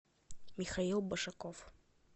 михаил башаков